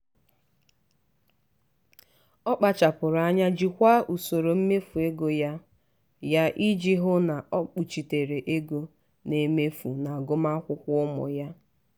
ọ kpachapụrụ anya jikwaa usoro mmefu ego ya ya iji hụ na o kpuchitere ego ọ na-emefu n'agụmakwụkwọ ụmụ ya.